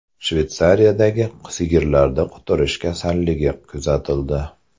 Shveysariyadagi sigirlarda quturish kasalligi kuzatildi.